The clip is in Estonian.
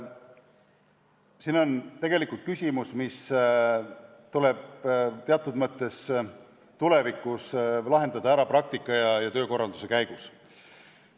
See on tegelikult selline küsimus, mis tuleb teatud mõttes lahendada tulevikus praktika ja töökorralduse käigus.